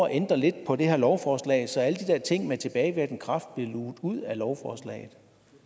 at ændre lidt på det her lovforslag så alle de der ting med tilbagevirkende kraft blev luget ud af lovforslaget